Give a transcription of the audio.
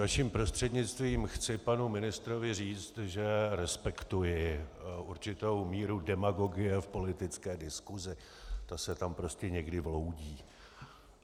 Vaším prostřednictvím chci panu ministrovi říct, že respektuji určitou míru demagogie v politické diskusi, to se tam prostě někdy vloudí.